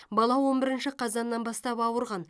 бала он бірінші қазаннан бастап ауырған